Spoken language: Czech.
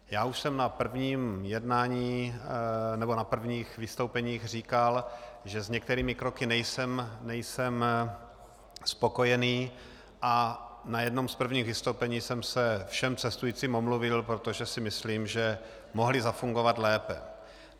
Já už jsem na prvních vystoupeních říkal, že s některými kroky nejsem spokojen, a na jednom z prvních vystoupení jsem se všem cestujícím omluvil, protože si myslím, že mohly zafungovat lépe.